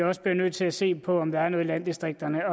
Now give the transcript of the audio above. også bliver nødt til at se på om der kan spares noget i landdistrikterne